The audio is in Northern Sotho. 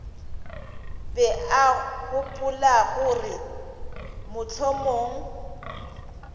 be a gopola gore mohlomong